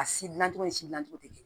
A si dilancogo ni si dilancogo tɛ kelen ye